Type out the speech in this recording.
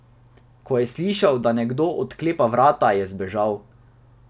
Ko je slišal, da nekdo odklepa vrata, je zbežal.